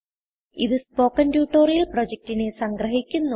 ഇതു spoken tutorial പ്രൊജക്റ്റിനെ സംഗ്രഹിക്കുന്നു